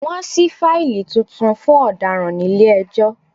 Wọ́n ṣí fáílì tuntun fún ọ̀daràn nílé ẹjọ́